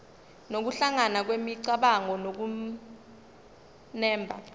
nokuhlangana kwemicabango nokunemba